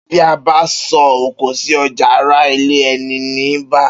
Bi a ba so oko si oja ara ilẹ eni ni ba.